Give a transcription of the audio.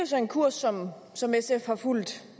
så en kurs som som sf har fulgt